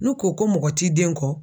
N'u ko ko mɔgɔ t'i den kɔ